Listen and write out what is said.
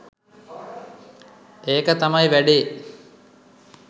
ඒක තමයි වැඩේ.